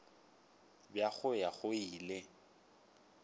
bja go ya go ile